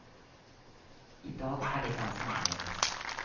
I dag er det ganske annerledes.